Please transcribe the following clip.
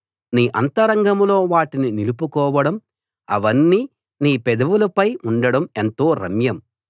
నీ అంతరంగంలో వాటిని నిలుపుకోవడం అవన్నీ నీ పెదవులపై ఉండడం ఎంతో రమ్యం